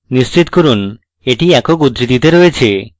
নিশ্চিত করুন এটি একক উদ্ধৃতিতে রয়েছে